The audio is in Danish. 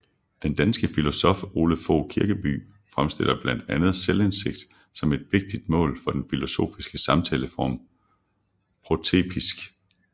Den danske filosof Ole Fogh Kirkeby fremstiller blandt andet selvindsigt som et vigtigt mål for den filosofiske samtaleform protreptik